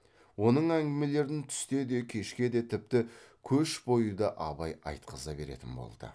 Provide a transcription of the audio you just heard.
оның әңгімелерін түсте де кешке де тіпті көш бойы да абай айтқыза беретін болды